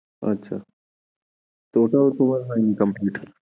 আচ্ছা তো ওটাও তোমার হয়িনি complete?